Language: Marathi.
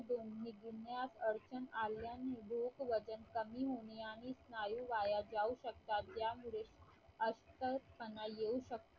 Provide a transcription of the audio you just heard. गिळण्यास अडचण आल्याने भूक वजन कमी होणे आणि स्नायू वाया जाऊ शकतात ज्यामुळे अशक्तपणा येऊ शकतो.